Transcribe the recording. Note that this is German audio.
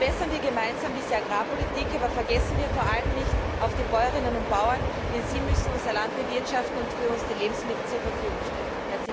Verbessern wir gemeinsam diese Agrarpolitik, aber vergessen wir vor allem nicht die Bäuerinnen und Bauern, denn sie müssen unser Land bewirtschaften und für uns die Lebensmittel zur Verfügung stellen!